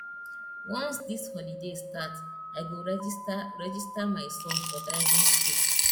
once dis holiday start i go register register my son for driving skool